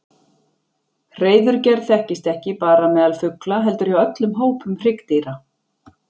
Hreiðurgerð þekkist ekki bara meðal fugla heldur hjá öllum hópum hryggdýra.